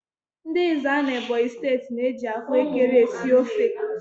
Ndị Ezza n'Ebonyi steeti na-eji ahụekere esi ofe.